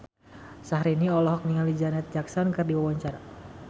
Syahrini olohok ningali Janet Jackson keur diwawancara